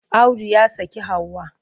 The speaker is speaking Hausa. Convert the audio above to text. Audu ya saki Hauwa.